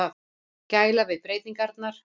Gæla við breytingarnar.